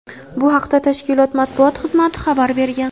Bu haqda tashkilot matbuot xizmati xabar bergan.